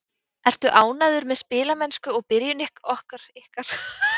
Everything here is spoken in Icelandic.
Ertu ánægður með spilamennsku og byrjun ykkar í mótinu?